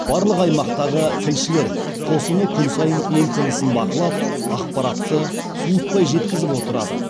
барлық аймақтағы тілшілер қосыны күн сайын ел тынысын бақылап ақпаратты суытпай жеткізіп отырады